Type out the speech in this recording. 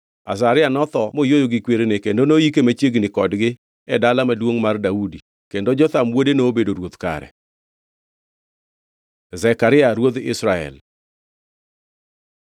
Azaria notho moyweyo gi kwerene kendo noyike machiegni kodgi e Dala Maduongʼ mar Daudi, kendo Jotham wuode nobedo ruoth kare. Zekaria ruodh Israel